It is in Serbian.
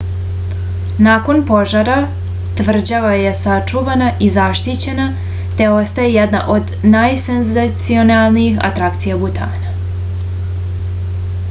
nakon požara tvrđava je sačuvana i zaštićena te ostaje jedna od najsenzacionalnijih atrakcija butana